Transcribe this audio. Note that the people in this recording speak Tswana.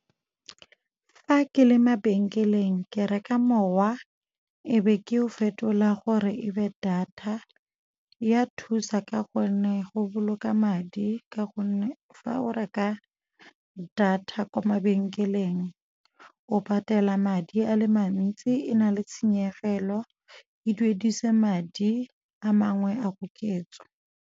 Fa ke le mabenkeleng ke reka mowa e be ke o fetola gore e be data. Ya thusa ka gonne go boloka madi ka gonne fa o reka data kwa mabenkeleng o patela madi a le mantsi e na le tshenyegelo, e duedisa madi a mangwe a koketso.